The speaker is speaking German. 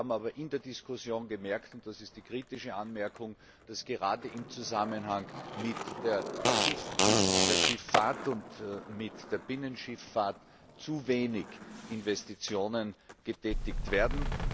Wir haben aber in der Diskussion gemerkt und das ist die kritische Anmerkung dass gerade im Zusammenhang mit der Schifffahrt und mit der Binnenschifffahrt zu wenig Investitionen getätigt werden.